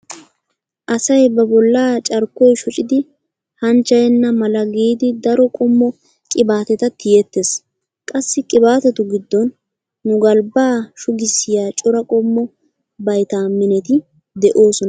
Asay ba bollaa carkkoy shocidi hanchchayenna mala giidi daro qommo qibaateta tiyettees. Qassi qibaatetu giddon nu galbba shugissiya cora qommo viitaamineti de'oosona giyogaa.